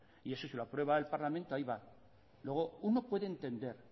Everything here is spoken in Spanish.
y eso si lo aprueba el parlamento ahí va luego uno puede entender